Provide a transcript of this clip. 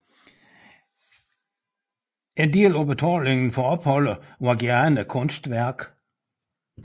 En del af betalingen for opholdet var gerne et kunstværk